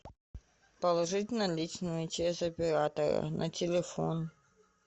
положить наличные через оператора на телефон